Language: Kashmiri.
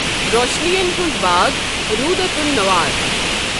روشنین ہند باغ روٗودۃ النوار۔